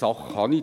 kann.